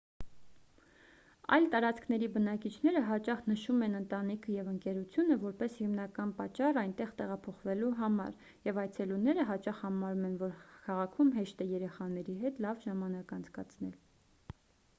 այլ տարածքների բնակիչները հաճախ նշում են ընտանիքը և ընկերությունը որպես հիմնական պատճառ այնտեղ տեղափոխվելու համար և այցելուները հաճախ համարում են որ քաղաքում հեշտ է երեխաների հետ լավ ժամանակ անցկացնել